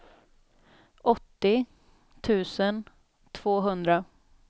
åttio tusen tvåhundra